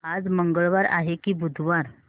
आज मंगळवार आहे की बुधवार